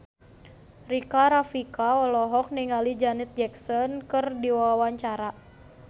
Rika Rafika olohok ningali Janet Jackson keur diwawancara